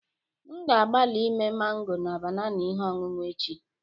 M ga-agbalị ime mango na banana ihe ọṅụṅụ echi